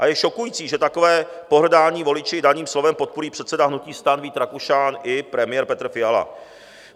A je šokující, že takové pohrdání voliči daným slovem podpoří předseda hnutí STAN Vít Rakušan i premiér Petr Fiala.